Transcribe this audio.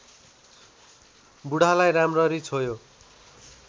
बुढालाई राम्ररी छोयो